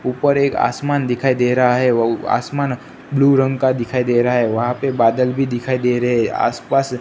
ऊपर एक आसमान दिखाई दे रहा है व आसमान ब्लू रंग का दिखाई दे रहा है वहां पे बादल भी दिखाई दे रहे हैं आसपास--